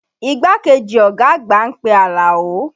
Igbákejì ọ̀gá àgbà ń pe Alao